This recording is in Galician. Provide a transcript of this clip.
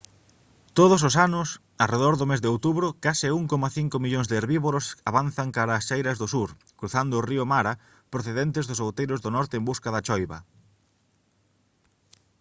todos os anos arredor do mes de outubro case 1,5 millóns de herbívoros avanzan cara ás chairas do sur cruzando o río mara procedentes dos outeiros do norte en busca da choiva